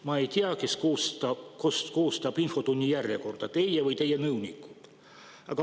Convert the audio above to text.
Ma ei tea, kes koostab infotunni järjekorda, teie või teie nõunikud.